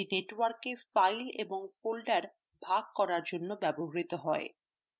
এটি network ফাইলগুলি ও ফোল্ডারগুলি ভাগ করার জন্য ব্যবহৃত হয়